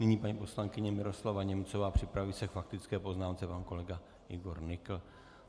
Nyní paní poslankyně Miroslava Němcová, připraví se k faktické poznámce pan kolega Igor Nykl.